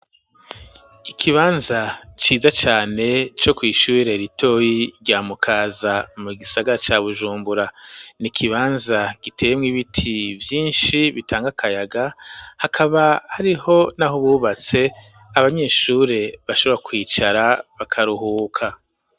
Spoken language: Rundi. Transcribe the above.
Ikibanza ciza cane co kw'ishuri ritoyi rya mukaza mu gisagara cya bujumbura niikibanza giteyemw ibiti vyinshi bitanga kayaga hakaba hariho n'aho bubatse abanyeshure bashobora kwicara bakaruhuka.